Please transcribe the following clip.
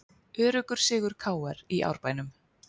Öruggur sigur KR í Árbænum